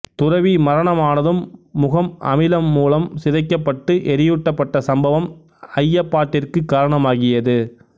துறவி மரணமானதும் முகம் அமிலம் மூலம் சிதைக்கப்பட்டு எரியூட்டப்பட்ட சம்பவம் ஐயப்பாட்டிற்குக் காரணமாகியது